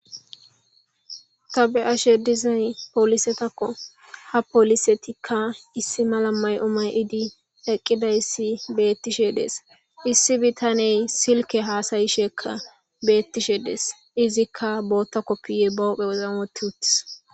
Ta be'isha dizaysi polisetakko. Ha polisetikka issi mala mayo mayidi eqidayssi betishe de'es issi bitaney silkke haasa'she kka betishe de'es izikka booththa kopiya ba huuphphen wothidi uutis.